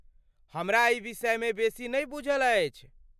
हमरा एहि विषयमे बेसी नहि बूझल अछि।